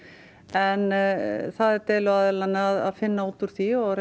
en það er deiluaðilanna að finna út úr því og